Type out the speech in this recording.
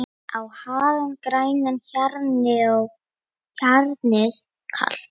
á hagann grænan, hjarnið kalt